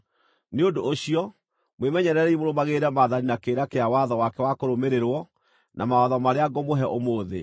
Nĩ ũndũ ũcio, mwĩmenyererei mũrũmagĩrĩre maathani na kĩrĩra kĩa watho wake wa kũrũmĩrĩrwo, na mawatho marĩa ngũmũhe ũmũthĩ.